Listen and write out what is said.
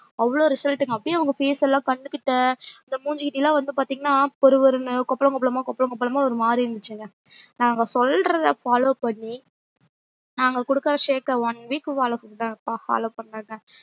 அவ்ளோ result ங்க அப்டியே அவங்க face ல கண்ணுக்கிட்ட அந்த மூஞ்சிகிட்ட ல வந்து பாத்திங்கன்னா பொறுபொறுன்னு கொப்லம் கொப்லமா கொப்லம் கொப்லம்மா ஒரு மாறி இருந்துச்சுங்க நாங்க சொல்றத follow பண்ணி நாங்க குடுக்குற shake க்க one week follow பண்னுங்க follow பண்ணுங்க